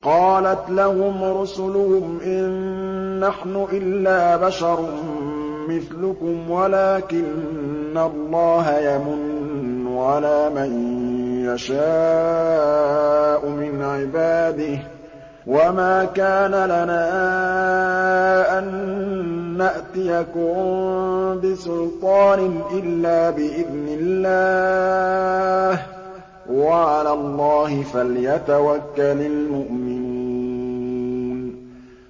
قَالَتْ لَهُمْ رُسُلُهُمْ إِن نَّحْنُ إِلَّا بَشَرٌ مِّثْلُكُمْ وَلَٰكِنَّ اللَّهَ يَمُنُّ عَلَىٰ مَن يَشَاءُ مِنْ عِبَادِهِ ۖ وَمَا كَانَ لَنَا أَن نَّأْتِيَكُم بِسُلْطَانٍ إِلَّا بِإِذْنِ اللَّهِ ۚ وَعَلَى اللَّهِ فَلْيَتَوَكَّلِ الْمُؤْمِنُونَ